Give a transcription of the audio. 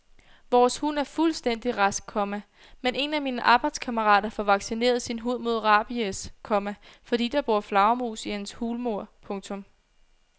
Vores hund er fuldstændig rask, komma men en af mine arbejdskammerater får vaccineret sin hund mod rabies, komma fordi der bor flagermus i hans hulmur. punktum